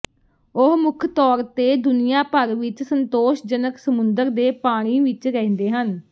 ਉਹ ਮੁੱਖ ਤੌਰ ਤੇ ਦੁਨੀਆ ਭਰ ਵਿੱਚ ਸੰਤੋਸ਼ਜਨਕ ਸਮੁੰਦਰ ਦੇ ਪਾਣੀ ਵਿੱਚ ਰਹਿੰਦੇ ਹਨ